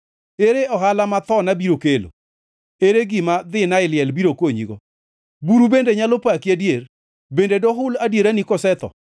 “Ere ohala ma thona biro kelo, ere gima dhina e liel biro konyigo? Buru bende nyalo paki adier? Bende dohul adierani kasetho?